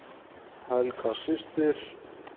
Helga systir.